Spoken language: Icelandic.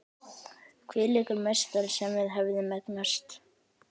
Hvílíkur meistari sem við höfum eignast!